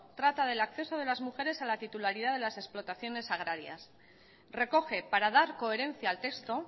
trata del acceso de las mujeres a la titularidad de las explotaciones agrarias recoge para dar coherencia al texto